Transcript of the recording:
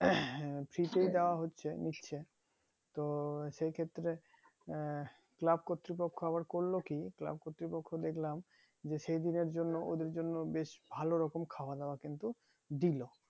হচ্ছে নিশ্চে তো সেই ক্ষেত্রে আহ club কতৃপক্ষ আবার করলো কি club কতৃপক্ষ দেখলাম যে সেদিনের জন্য ওদের জন্য বেশ ভালো রকম খাওয়া দাওয়া কিন্তু দিলো